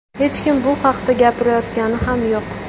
Hech kim bu haqda gapirayotgani ham yo‘q.